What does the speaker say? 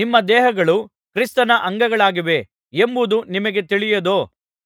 ನಿಮ್ಮ ದೇಹಗಳು ಕ್ರಿಸ್ತನ ಅಂಗಗಳಾಗಿವೆ ಎಂಬುದು ನಿಮಗೆ ತಿಳಿಯದೋ